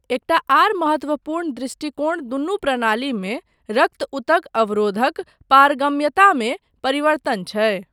एकटा आर महत्वपूर्ण दृष्टिकोण दूनू प्रणालीमे रक्त ऊतक अवरोधक पारगम्यतामे परिवर्तन छै।